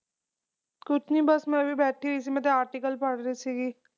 ਕੁਚਨੀ ਬਸ ਮੈਂ ਵੀ ਬੈਠੀ ਹੋਈ ਸੀ ਮੈਂ ਤੇ article ਪੜ੍ਹ ਰੀ ਸੀਗੀ